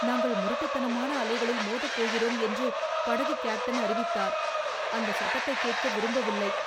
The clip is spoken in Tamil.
நாங்கள் முரட்டுத்தனமான அலைகளில் மோதப் போகிறோம் என்று படகு கேப்டன் அறிவித்தார். அந்த சத்தத்தைக் கேட்க விரும்பவில்லை.